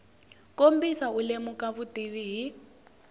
kombisa u lemuka vutivi hi